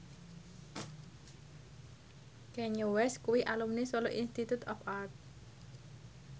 Kanye West kuwi alumni Solo Institute of Art